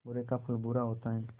बुरे का फल बुरा होता है